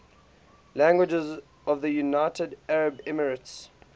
languages of the united arab emirates